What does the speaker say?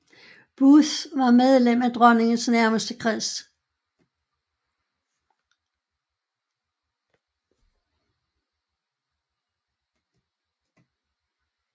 Booth var medlem af dronningens nærmeste kreds